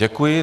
Děkuji.